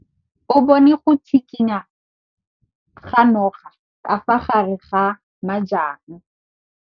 O bone go tshikinya ga noga ka fa gare ga majang.